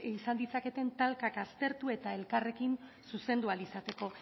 izan ditzaketen talkak aztertu eta elkarrekin zuzendu ahal izateko